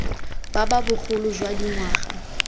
ba ba bogolo jwa dingwaga